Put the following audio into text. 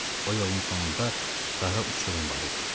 O yolun sonunda qara uçurum var idi.